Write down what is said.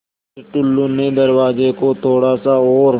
फ़िर टुल्लु ने दरवाज़े को थोड़ा सा और